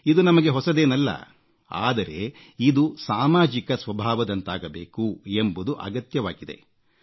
ಇದು ನಮಗೆ ಹೊಸದೇನಲ್ಲ ಆದರೆ ಇದು ಸಾಮಾಜಿಕ ಸ್ವಭಾವದಂತಾಗಬೇಕು ಎಂಬುದು ಅಗತ್ಯವಾಗಿದೆ